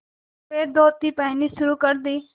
सफ़ेद धोती पहननी शुरू कर दी